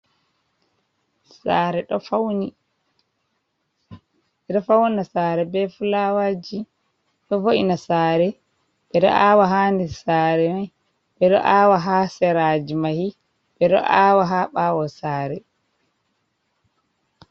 Saare ɗo fawni. Ɓe ɗo fawna saare be fulaawaji, ɗo vo’ina saare. Ɓe ɗo aawa haa nder saare mai, ɓe do aawa haa seraaji mahi, ɓe ɗo aawa haa ɓaawo saare.